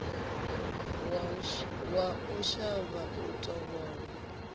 wa u shavha u tovholwa